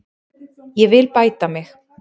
Ég vil bæta mig.